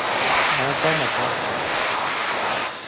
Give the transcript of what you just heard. আমার কম আছে নাকি?